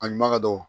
A ɲuman ka dɔgɔ